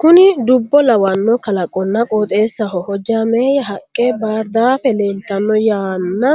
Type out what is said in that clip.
kuni dubbo lawanno kalaqonna qooxeessaho hojjaameyye haqqe baardaafe leeltanno yanna